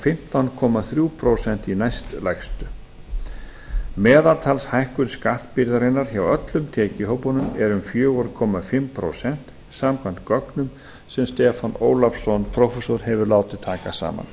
fimmtán komma þrjú prósent í næstlægstu meðaltalshækkun skattbyrðarinnar hjá öllum tekjuhópunum er um fjögur og hálft prósent samkvæmt gögnum sem stefán ólafsson prófessor hefur látið taka saman